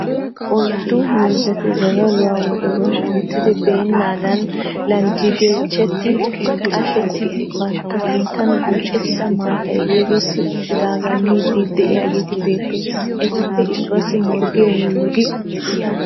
Oyiddu miizzati zazzaluwan wodoruwa duuttidi beennaadan landdigichchetti qashettidi bantta sinttan buucettida maatay yegetti uttidaagaa miiddi diyageeti beettoosona. Etuppe issuwaaasi morggee mullugi uttis.